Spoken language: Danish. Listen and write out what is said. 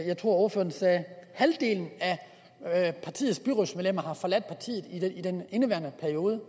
jeg ordføreren sagde af partiets byrådsmedlemmer havde forladt partiet i den indeværende periode